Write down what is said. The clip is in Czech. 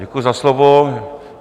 Děkuji za slovo.